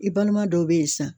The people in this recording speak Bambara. I balima dɔw be yen sisan